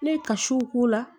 Ne ye kasiw k'o la